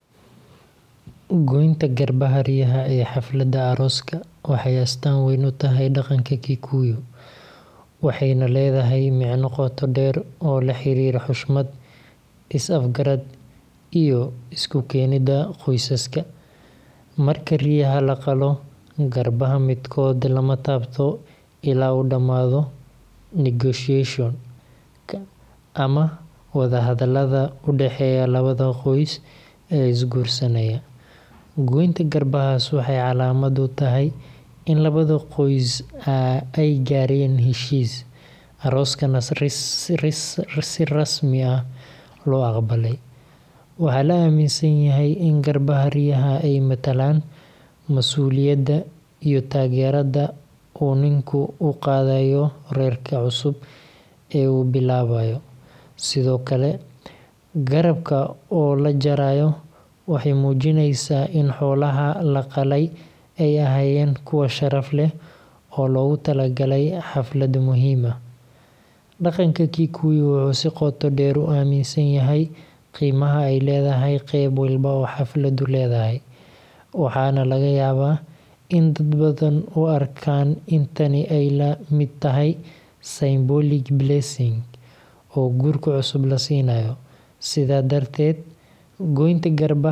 Goynta garbaha riyaha ee xafladda arooska waxay astaan weyn u tahay dhaqanka Kikuyu, waxayna leedahay micno qoto dheer oo la xiriira xushmad, is-afgarad, iyo isku keenidda qoysaska. Marka riyaha la qalo, garbaha midkood lama taabto illaa uu dhammaado negotiation-ka ama wadahadallada u dhexeeya labada qoys ee isguursanaya. Goynta garbahaas waxay calaamad u tahay in labada qoys ay gaareen heshiis, arooskana si rasmi ah loo aqbalay. Waxaa la aaminsan yahay in garbaha riyaha ay matalaan masuuliyadda iyo taageerada uu ninku u qaadayo reerka cusub ee uu bilaabayo. Sidoo kale, garabka oo la jarayo waxay muujinaysaa in xoolaha la qalay ay ahaayeen kuwo sharaf leh oo loogu talagalay xaflad muhiim ah. Dhaqanka Kikuyu wuxuu si qoto dheer u aaminsan yahay qiimaha ay leedahay qayb walba oo xafladdu leedahay, waxaana laga yaabaa in dad badan u arkaan in tani ay la mid tahay symbolic blessing oo guurka cusub la siinayo. Sidan darteed, goynta garbaha riyaha.